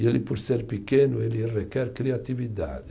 E ele, por ser pequeno, ele requer criatividade.